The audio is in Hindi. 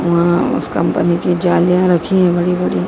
अह उस कंपनी की जालियां रखी हैं बड़ी बड़ी।